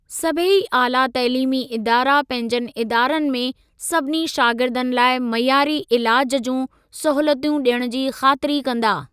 सभेई आला तइलीमी इदारा पंहिंजनि इदारनि में सभिनी शागिर्दनि लाइ मइयारी इलाज जूं सहूलियतूं ॾियण जी ख़ातिरी कंदा।